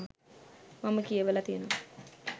මම කියවල තියෙනවා.